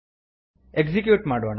execute ಮಾಡೋಣ